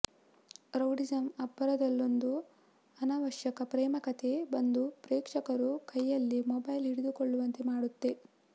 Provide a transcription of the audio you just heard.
rowdyism ಅಬ್ಬರದಲ್ಲೊಂದು ಅನವಶ್ಯಕ ಪ್ರೇಮಕಥೆ ಬಂದು ಪ್ರೇಕ್ಷಕರು ಕೈಯಲ್ಲಿ ಮೊಬೈಲ್ ಹಿಡಿದುಕೊಳ್ಳುವಂತೆ ಮಾಡುತ್ತೆ